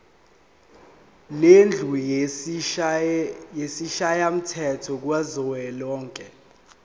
lendlu yesishayamthetho kuzwelonke